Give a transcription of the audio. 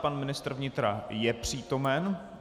Pan ministr vnitra je přítomen.